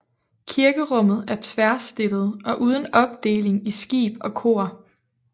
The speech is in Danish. Kirkerummet er tværstillet og uden opdeling i skib og kor